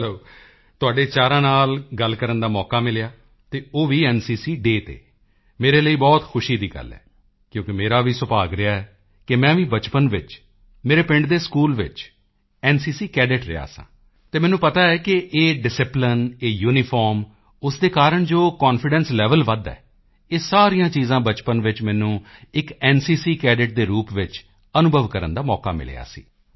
ਚਲੋ ਤੁਹਾਡੇ ਚਾਰਾਂ ਨਾਲ ਗੱਲ ਕਰਨ ਦਾ ਮੌਕਾ ਮਿਲਿਆ ਅਤੇ ਉਹ ਵੀ ਐਨਸੀਸੀ ਡੇਅ ਤੇ ਮੇਰੇ ਲਈ ਬਹੁਤ ਖੁਸ਼ੀ ਦੀ ਗੱਲ ਹੈ ਕਿਉਂਕਿ ਮੇਰਾ ਵੀ ਸੁਭਾਗ ਰਿਹਾ ਹੈ ਕਿ ਮੈਂ ਵੀ ਬਚਪਨ ਵਿੱਚ ਮੇਰੇ ਪਿੰਡ ਦੇ ਸਕੂਲ ਵਿੱਚ ਐਨਸੀਸੀ ਕੈਡੇਟ ਰਿਹਾ ਸਾਂ ਤਾਂ ਮੈਨੂੰ ਪਤਾ ਹੈ ਕਿ ਇਹ ਡਿਸਿਪਲਾਈਨ ਇਹ ਯੂਨੀਫਾਰਮ ਉਸ ਦੇ ਕਾਰਣ ਜੋ ਕਾਨਫੀਡੈਂਸ ਲੇਵਲ ਵਧਦਾ ਹੈ ਇਹ ਸਾਰੀਆਂ ਚੀਜ਼ਾਂ ਬਚਪਨ ਵਿੱਚ ਮੈਨੂੰ ਇੱਕ ਐਨਸੀਸੀ ਕੈਡੇਟ ਦੇ ਰੂਪ ਵਿੱਚ ਅਨੁਭਵ ਕਰਨ ਦਾ ਮੌਕਾ ਮਿਲਿਆ ਸੀ